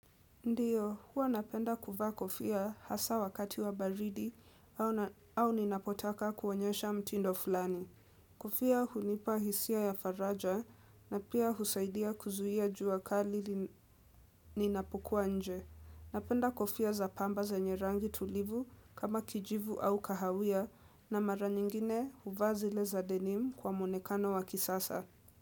Ndiyo, huwa napenda kuva kofia hasa wakati wa baridi au ninapotaka kuonyesha mtindo fulani. Kofia hunipa hisia ya faraja na pia husaidia kuzuia jua kali ninapukua nje. Napenda kufia za pamba zenye rangi tulivu kama kijivu au kahawia na mara nyingine huvazi leza denim kwa mwonekano wa kisasa.